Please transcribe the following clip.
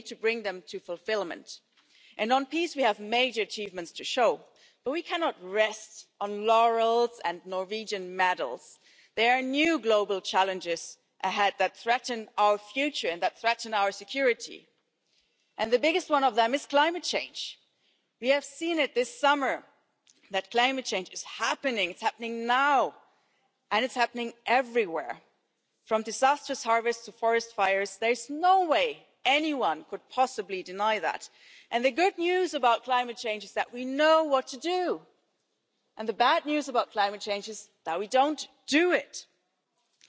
to all of us. And again, today as well, courageous people are standing up, marching for human rights their own rights and the rights of their neighbours and they are marching for freedom, be it in Sicily or Romania, be it in Chiemnitz or be it in Pirin. And they defend democracy, they defend humanity and they defend Europe, and we see as well that, if we stand up together, then we really have power and we are really strong together. And I think more now than ever, it is now the task and responsibility of all of us to take a stance and to take up all of our